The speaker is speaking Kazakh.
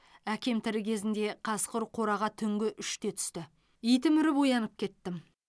әкем тірі кезінде қасқыр қораға түнгі үште түсті итім үріп оянып кеттім